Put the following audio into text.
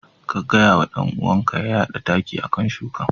Ka gaya wa dan uwanka ya yada takin a kan shukan.